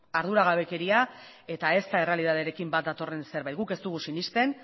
arduragabekeria eta ez da errealitatearekin bat datorren zerbait guk ez dugu sinesten